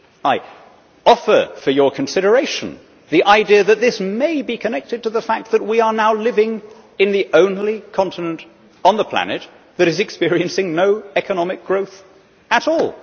I offer for your consideration the idea that this may be connected to the fact that we are now living in the only continent on the planet that is experiencing no economic growth at all.